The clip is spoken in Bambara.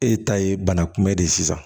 E ta ye bana kunbɛn de ye sisan